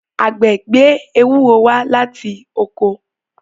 àgbẹ̀ gbé Ewúro wá láti oko.